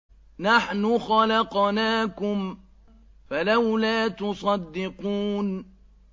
نَحْنُ خَلَقْنَاكُمْ فَلَوْلَا تُصَدِّقُونَ